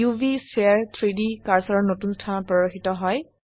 উভ স্ফিয়াৰ 3ডি কাৰ্সাৰৰ নতুন স্থানত প্ৰদৰ্শিত হয়